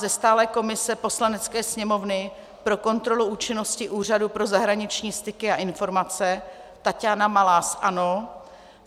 Ze stálé komise Poslanecké sněmovny pro kontrolu činnosti Úřadu pro zahraniční styky a informace Taťána Malá - ANO.